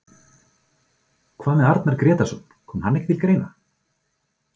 Hvað með Arnar Grétarsson, kom hann ekki til greina?